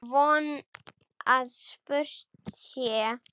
Og von að spurt sé.